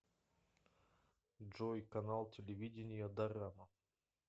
джой канал телевидения дорама